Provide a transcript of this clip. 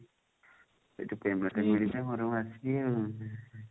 ସେଠି payment ମିଳିଲେ ଘରକୁ ଆସିବି ଆଉ